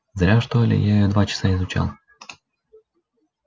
зря что ли я её два часа изучал